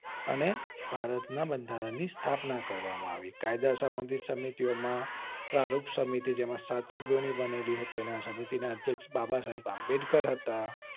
અને ભારત ના બંધારણ ની સ્થાપના કરવામાં આવી કાયદા સંબંધિત સમિતિઓ માં પરોપ સમિતિ જેમાં સાતસો જેટલી સમિતિ બનેલી હતી તે સમિતિ ના અધ્યક્ષ બાબા સાહેબ આંબેડકર હતા